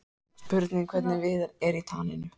Spurning hvernig Viðar er í taninu?